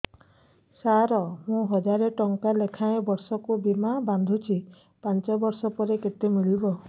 ସାର ମୁଁ ହଜାରେ ଟଂକା ଲେଖାଏଁ ବର୍ଷକୁ ବୀମା ବାଂଧୁଛି ପାଞ୍ଚ ବର୍ଷ ପରେ କେତେ ମିଳିବ